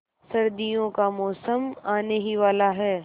सर्दियों का मौसम आने ही वाला है